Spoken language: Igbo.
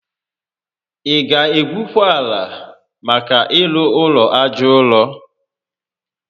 Ị ga egwukwa ala maka ịrụ ụlọ aja ụrọ?